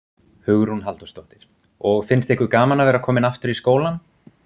Hugrún Halldórsdóttir: Og finnst ykkur gaman að vera komin aftur í skólann?